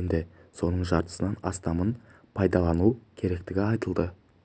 енді соның жартысынан астамын пайдалану керектігі айтылды